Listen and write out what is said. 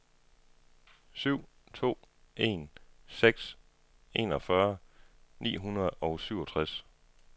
syv to en seks enogfyrre ni hundrede og syvogtres